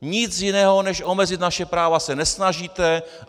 Nic jiného než omezit naše práva se nesnažíte.